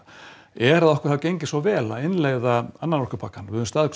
er að okkur hafi gengið svo vel að innleiða annan orkupakkann við höfum staðið